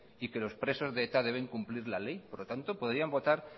y que los presos de eta deben cumplir la ley por lo tanto podrían votar